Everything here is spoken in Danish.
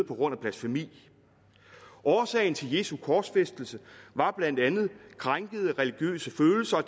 på grund af blasfemi årsagen til jesu korsfæstelse var blandt andet krænkede religiøse følelser og